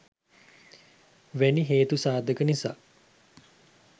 වැනි හේතු සාධක නිසා